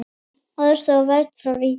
Aðstoð og vernd frá ríkinu